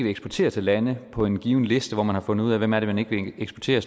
eksportere til lande på en given liste hvor man har fundet ud af hvem man ikke vil eksportere